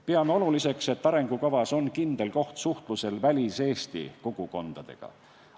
Peame oluliseks, et arengukavas on kindel koht suhtlusel Välis-Eesti kogukondadega.